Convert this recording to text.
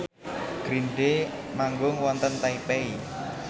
Green Day manggung wonten Taipei